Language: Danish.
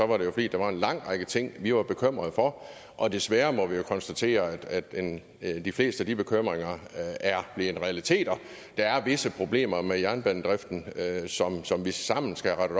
var det jo fordi der var en lang række ting vi var bekymrede for og desværre må vi konstatere at at de fleste af de bekymringer er blevet realiteter der er visse problemer med jernbanedriften som vi sammen skal have